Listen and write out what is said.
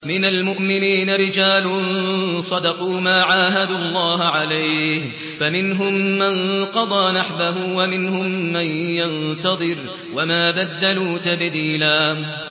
مِّنَ الْمُؤْمِنِينَ رِجَالٌ صَدَقُوا مَا عَاهَدُوا اللَّهَ عَلَيْهِ ۖ فَمِنْهُم مَّن قَضَىٰ نَحْبَهُ وَمِنْهُم مَّن يَنتَظِرُ ۖ وَمَا بَدَّلُوا تَبْدِيلًا